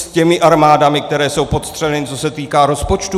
S těmi armádami, které jsou podstřeleny, co se týká rozpočtů?